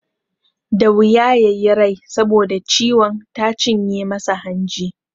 Da wuya ya yi rai saboda ciwon ta cinye masa hanji.